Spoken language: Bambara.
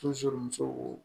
musow